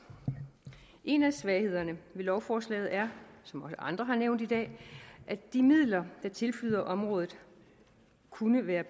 en af svaghederne ved lovforslaget er som andre har nævnt i dag at de midler der tilflyder området kunne være